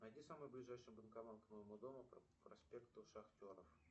найди самый ближайший банкомат к моему дому по проспекту шахтеров